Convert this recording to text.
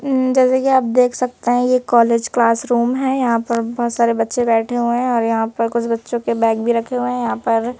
ऊं जैसा की आप देख सकते हैं ये कॉलेज क्लासरूम है यहां पर बहोत सारे बच्चे बैठे हुए हैं और यहां पर कुछ बच्चों के बैग भी रखे हुए हैं यहां पर --